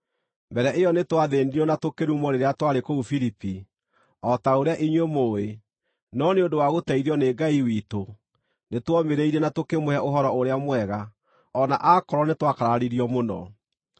Mbere ĩyo nĩtwathĩĩnirio na tũkĩrumwo rĩrĩa twarĩ kũu Filipi, o ta ũrĩa inyuĩ mũũĩ, no nĩ ũndũ wa gũteithio nĩ Ngai witũ, nĩtuomĩrĩirie na tũkĩmũhe Ũhoro-ũrĩa-Mwega, o na akorwo nĩtwakararirio mũno.